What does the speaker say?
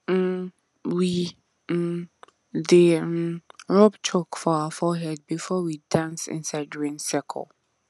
um we um dey um rub chalk for our forehead before we dance inside rain circle